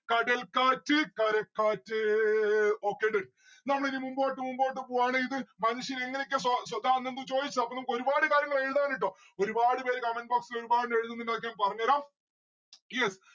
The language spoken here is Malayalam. കടൽക്കാറ്റ് കരക്കാറ്റ് okay നമ്മളിനി മുമ്പോട്ട് മുമ്പോട്ട് പോവാണ് ഇത് മനുഷ്യനെങ്ങനെയൊക്കെ സ്വ അപ്പൊ നമ്മുക്ക് ഒരുപാട് കാര്യങ്ങൾ എഴുതാന് ട്ടോ. ഒരുപാട് പേര് comment box ൽ ഞാൻ പറഞ്ഞേരാം